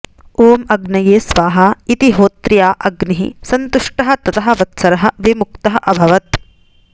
ॐ अग्निये स्वाहा इति होत्र्या अग्निः संतुष्टः ततः वत्सरः विमुक्तः अभवत्